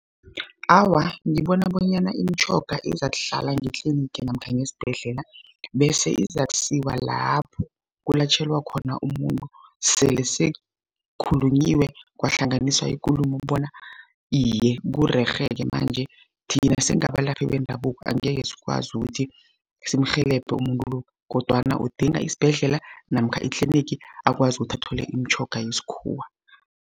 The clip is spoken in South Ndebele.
Awa, ngibona bonyana imitjhoga izakuhlala ngetlinigi namkha ngesibhedlela, bese izakusiwa lapho kulatjhelwa khona umuntu, sele sekhulunyiwe kwahlanganiswa ikulumo bona iye, kurerhe-ke manje, thina singabalaphi bendabuko angeke sikwazi ukuthi simrhelebhe umuntu lo, kodwana udinga isibhedlela namkha itlinigi akwazi ukuthi athole imitjhoga yesikhuwa.